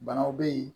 Banaw bɛ yen